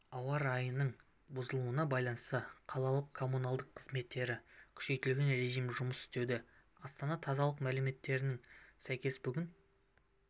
ауа райының бұзылуына байланысты қаланың коммуналдық қызметтері күшейтілген режімде жұмыс істеуде астана тазалық мәліметтеріне сәйкес бүгін